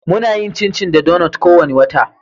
Muna yin chinchi da donuts kowane wata.